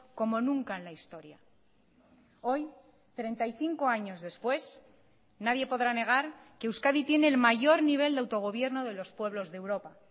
como nunca en la historia hoy treinta y cinco años después nadie podrá negar que euskadi tiene el mayor nivel de autogobierno de los pueblos de europa